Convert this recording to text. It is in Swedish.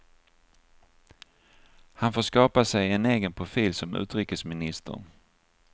Han får skapa sig en egen profil som utrikesminister.